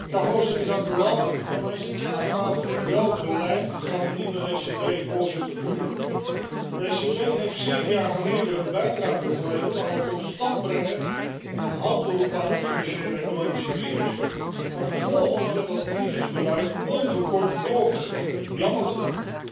Voorzitter, voor mij is de kernvraag welk beleid gaat de nieuwe ECB voorzitter voeren? De ECB heeft zeven jaar geleden een bijdrage geleverd aan het tot stand brengen en een halt toeroepen aan de financiële, economische crisis, maar vervolgens werd dat het crisisbeleid onverkort doorgezet, jammer genoeg.